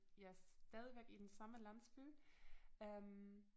Ja stadigvæk i den samme landsby øh